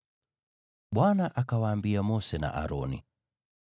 Bwana akawaambia Mose na Aroni,